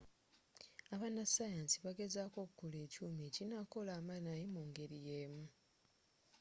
abanasayansi bagezzako okukola ekyuma ekinakola amanayi mu ngeri y'emu